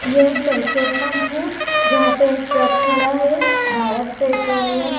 ये एक petrol pump है जहां पे एक ट्रक खड़ा है भारत पेट्रोलियम --